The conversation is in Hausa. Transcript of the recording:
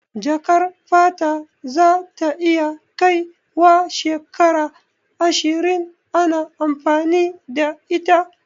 Jakar fata za ta iya kai wa shekaru ashirin ana amfani da ita